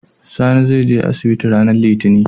Sani zai je asibiti ranar litinin